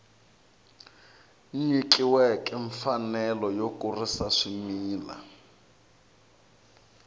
nyikiweke mfanelo yo kurisa swimila